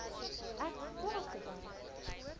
ek klaar gewerk